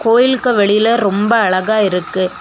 கோயிலுக்கு வெளில ரொம்ப அழகா இருக்கு.